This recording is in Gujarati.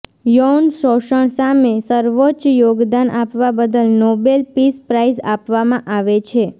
યૌન શોષણ સામે સર્વોચ્ચ યોગદાન આપવા બદલ નોબેલ પીસ પ્રાઈઝ આપવામાં આવે છે